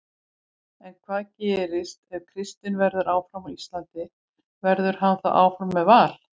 En hvað gerist ef Kristinn verður áfram á Íslandi, verður hann þá áfram með Val?